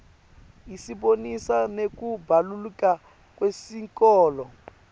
isibonisa nekubaluleka kwesikolo